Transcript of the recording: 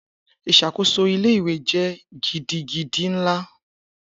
Isakoso ile-iwe jẹ gidigidi nla.